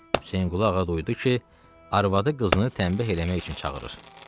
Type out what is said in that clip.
Hüseynqulu Ağa duydu ki, arvadı qızını tənbih eləmək üçün çağırır.